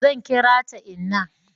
zan kira ta inna